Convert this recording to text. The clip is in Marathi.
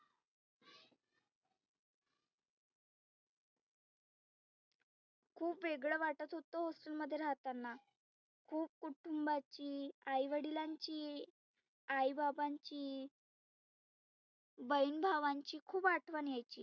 खुप वेगळ वाटत होतं hostel मध्ये राहताना. खुप कुटुंबाची, आई वडिलांची, आई बाबांची बहिन भावांची खुप आठवन यायची.